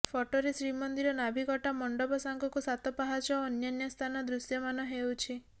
ଫଟୋରେ ଶ୍ରୀମନ୍ଦିର ନାଭିକଟା ମଣ୍ଡପ ସାଙ୍ଗକୁ ସାତପାହାଚ ଓ ଅନ୍ୟାନ୍ୟ ସ୍ଥାନ ଦୃଶ୍ୟମାନ ହେଉଛି